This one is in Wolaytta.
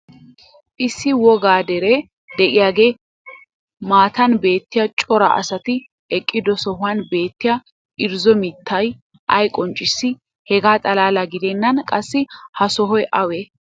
issi wogga deree diyaagaa matan beettiya cora asati eqqido sohuwan beettiya irzzo mittay ay qonccissii? hegaa xalaala gidennan qassi ha sohoy awee?